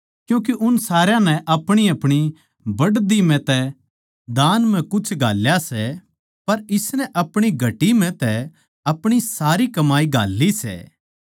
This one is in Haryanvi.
क्यूँके उन सारया नै अपणीअपणी बढ़दी म्ह तै दान म्ह कुछ घाल्या सै पर इसनै अपणी घटी म्ह तै अपणी सारी कमाई घाल्ली सै